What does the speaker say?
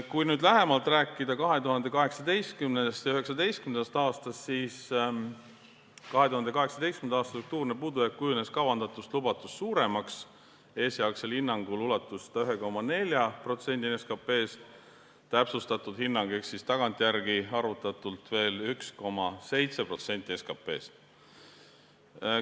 Kui lähemalt rääkida 2018. ja 2019. aastast, siis 2018. aasta struktuurne puudujääk kujunes kavandatust ja lubatust suuremaks, esialgsel hinnangul ulatus see 1,4%-ni SKP-st, täpsustatud hinnangul ehk tagantjärele arvutatult 1,7%-ni SKP-st.